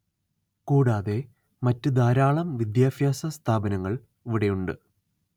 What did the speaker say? കൂടാതെ മറ്റ് ധാരാളം വിദ്യാഭ്യാസ സ്ഥാപനങ്ങള്‍ ഇവിടെയുണ്ട്